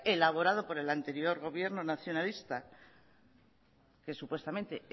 elaborado por el anterior gobierno nacionalista que supuestamente